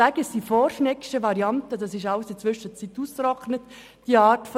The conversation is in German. Deshalb spreche ich von «Vor-Schneggschen» Varianten;